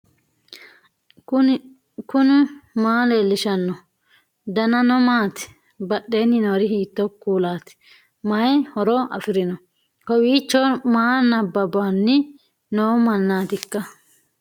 knuni maa leellishanno ? danano maati ? badheenni noori hiitto kuulaati ? mayi horo afirino ? kowiicho maa nabawanni noo mannaatikka